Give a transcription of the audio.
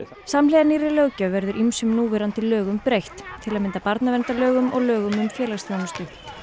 samhliða nýrri löggjöf verður ýmsum núverandi lögum breytt til að mynda barnaverndarlögum og lögum um félagsþjónustu